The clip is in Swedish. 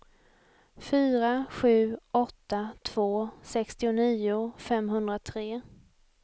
fyra sju åtta två sextionio femhundratre